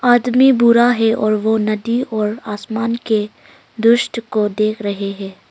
आदमी बुरा है और वो नदी और आसमान के दृष्ट को देख रहे है।